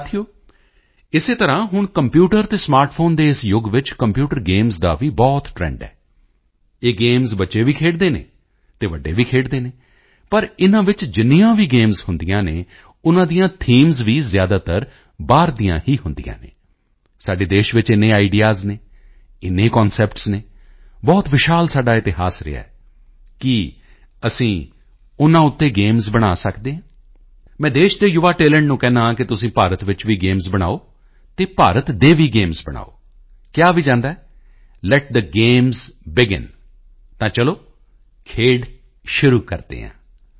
ਸਾਥੀਓ ਇਸੇ ਤਰ੍ਹਾਂ ਹੁਣ ਕੰਪਿਊਟਰ ਅਤੇ ਸਮਾਰਟ ਫੋਨ ਦੇ ਇਸ ਯੁਗ ਵਿੱਚ ਕੰਪਿਊਟਰ ਗੇਮਸ ਦਾ ਵੀ ਬਹੁਤ ਟ੍ਰੈਂਡ ਹੈ ਇਹ ਗੇਮਸ ਬੱਚੇ ਵੀ ਖੇਡਦੇ ਹਨ ਤੇ ਵੱਡੇ ਵੀ ਖੇਡਦੇ ਹਨ ਪਰ ਇਨ੍ਹਾਂ ਵਿੱਚ ਵੀ ਜਿੰਨੀਆਂ ਗੇਮਸ ਹੁੰਦੀਆਂ ਹਨ ਉਨ੍ਹਾਂ ਦੀਆਂ ਥੀਮਜ਼ ਵੀ ਜ਼ਿਆਦਾਤਰ ਬਾਹਰ ਦੀਆਂ ਹੀ ਹੁੰਦੀਆਂ ਹਨ ਸਾਡੇ ਦੇਸ਼ ਵਿੱਚ ਇੰਨੇ ਆਈਡੀਈਏਐਸ ਹਨ ਇੰਨੇ ਕਨਸੈਪਟਸ ਹਨ ਬਹੁਤ ਵਿਸ਼ਾਲ ਸਾਡਾ ਇਤਿਹਾਸ ਰਿਹਾ ਹੈ ਕੀ ਅਸੀਂ ਉਨ੍ਹਾਂ ਉੱਤੇ ਗੇਮਜ਼ ਬਣਾ ਸਕਦੇ ਹਾਂ ਮੈਂ ਦੇਸ਼ ਦੇ ਯੁਵਾ ਟੈਲੈਂਟ ਨੂੰ ਕਹਿੰਦਾ ਹਾਂ ਕਿ ਤੁਸੀਂ ਭਾਰਤ ਵਿੱਚ ਵੀ ਗੇਮਜ਼ ਬਣਾਓ ਅਤੇ ਭਾਰਤ ਦੇ ਵੀ ਗੇਮਜ਼ ਬਣਾਓ ਕਿਹਾ ਵੀ ਜਾਂਦਾ ਹੈ ਲੇਟ ਥੇ ਗੇਮਜ਼ ਬੇਗਿਨ ਤਾਂ ਚਲੋ ਖੇਡ ਸ਼ੁਰੂ ਕਰਦੇ ਹਾਂ